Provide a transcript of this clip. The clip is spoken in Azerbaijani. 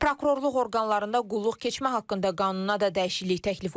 Prokurorluq orqanlarında qulluq keçmə haqqında qanuna da dəyişiklik təklif olunur.